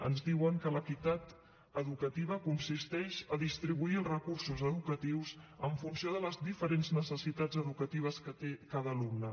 ens diuen que l’equitat educativa consisteix a distribuir els recursos educatius en funció de les diferents necessitats educatives que té cada alumne